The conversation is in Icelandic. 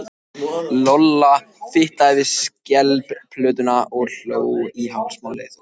Lolla fitlaði við skelplötuna í hálsmálinu og hló.